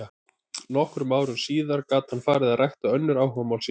Nokkrum árum síðar gat hann farið að rækta önnur áhugamál sín.